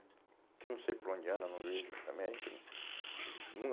Que eu não sei por onde anda, não vejo, também, a gente, não